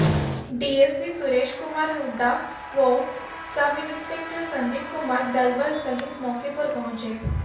DSP Suresh Kumar Hooda व sub inspector Sandeep Kumar दलबल सहित मौके पर पहुंचे